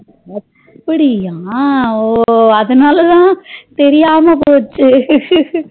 அப்டியா ஓ அதுனாலதா தெரியாமா போச்சே